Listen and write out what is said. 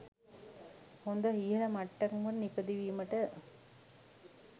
හොද ඉහල මට්ටමකට නිපදවීමට